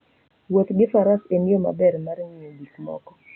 Wuoth gi faras en yo maber mar ng'iyo gik moko.